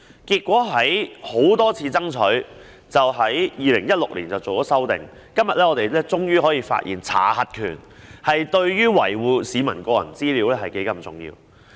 結果在多次爭取之後，政府在2016年作出修訂，今天大家終於意識到查核權對維護市民個人資料是多麼重要。